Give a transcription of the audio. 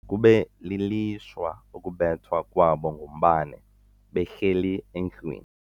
Kube lilishwa ukubethwa kwabo ngumbane behleli endlwini.